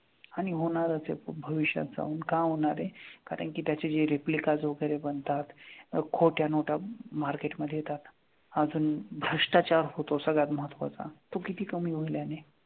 आणि होणारच आहे भविष्यात जाऊन का होणार आहे, कारण की त्याचे जे replicas वगैरे बनतात, खोट्या नोटा market मध्ये येतात, अजून भ्रष्टाचार होतो सगळ्यात महत्त्वाचा तो किती कमी होईल याने.